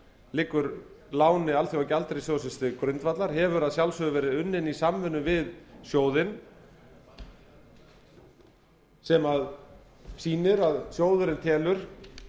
liggur láni alþjóðagjaldeyrissjóðsins til grundvallar hefur að sjálfsögðu verið unnin í samvinnu við sjóðinn sem sýnir að sjóðurinn telur